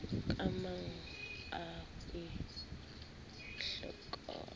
kemangau a e hlepholaka ka